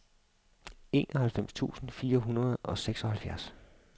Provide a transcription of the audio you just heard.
enoghalvfems tusind fire hundrede og seksoghalvfjerds